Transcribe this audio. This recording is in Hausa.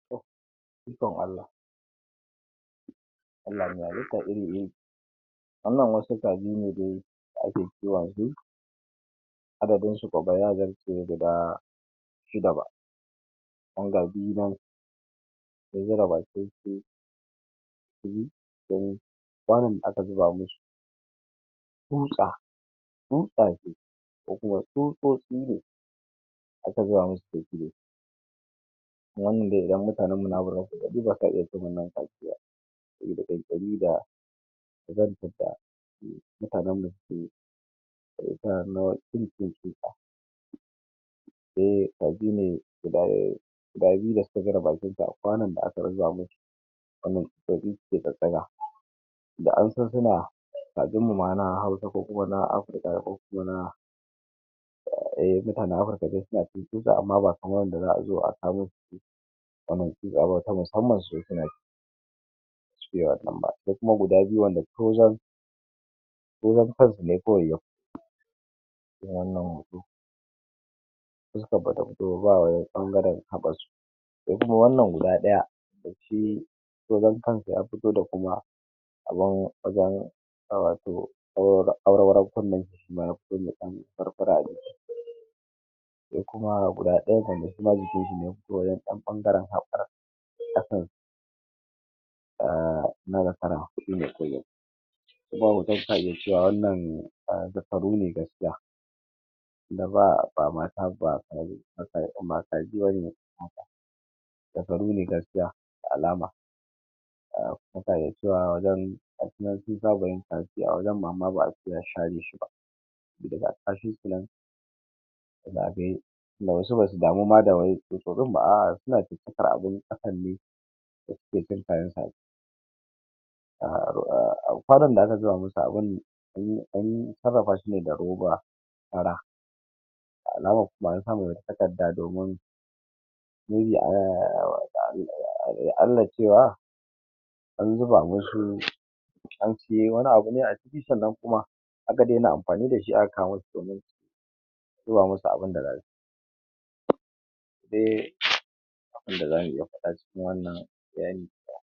Allah bani ƙwabarin wannan wasu kaji ne da ake kiwonsu, adadinsu kuma ya zarce guda shida. Ba mun ga biyu nan sun zuba baki ciki, an yi musu kwami saman, aka zuba musu tsutsa. Tsutsa ce ko kuma tsutsotsi ne. Aka gaya musu tsuntsu ne wannan zai maza. Mutanenmu na Afirka ba sa iya wannan saboda kyankyami da saboda hananmu suke yi. Mutanen da suke cin tsutsa eh addinin su. Dawaye kaji da suka zura bakinsu a kwanan da aka zuba musu, wannan shi kaji suke tsattsaga da an san suna kajinmu na Hausa ko na Afirka ko na eh na Afirka ma suna ciki. Su tsuntsu ba kamar wanda zo a sa bane. Wannan shinkafa ta musamman ba ne sai a sa, sai kuma guda biyu da aka tozar kansu ne kawai ya fito. Shi wannan hoto sai suka farauto ba ɓangaren abar. Sai kuma wannan guda ɗaya da tai tozan kansa ya fito da kuma a ban wajen ƙawato awarwaro. Awarwaron kunne kuma ya kulle furfurar ko kuma guda ɗaya na jikin sa ne ko wancan ɓangaren afuran abu a ina da fara kuɗi bai kai ba. In ma wancan suna gajiya wannan a duk faru ne gaskiya. Daba ba matar ba aiwa mata giwani zakaru ne gaskiya. Da alama mun fahimci cewa wajen ga shi nan sai zawayin kaji su yi a wajen amma ba a ce a share ba. Duk ga kashinsu nan kaji tunda wasu ba su damu ma da wanki duk gurin ma a suna ciki har abinci. Hakan ne da suke tsuntsayen kaji a kwanan da aka zuba musu abinci an sarrafa shi ne da roba fara. Da alama kuma an sa takarda dogon, duk da cewa ya Allah cewa an zuba musu an suyo wani abu ne a ciki, sannan kuma aka daina amfani da shi aka kawo musu wani, zuba musu abin da za su ci eh shiga ruwa kaɗan cikin wani ruɗani.